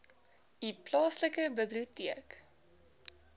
u plaaslike biblioteek